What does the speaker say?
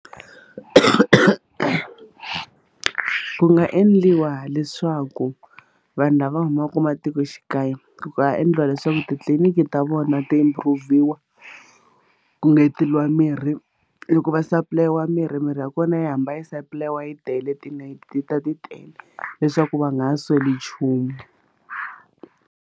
Ku nga endliwa leswaku vanhu lava humaka ematikoxikaya ku nga endliwa leswaku titliliniki ta vona ti-improve-iwa ku engeteriwa mirhi loko va supply-iwa mirhi mirhi ya kona yi hamba yi supply-iwa yi tele tinayiti ta ti tele leswaku va nga ha sweli nchumu.